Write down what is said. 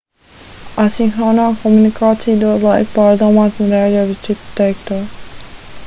asinhronā komunikācija dod laiku pārdomāt un reaģēt uz citu teikto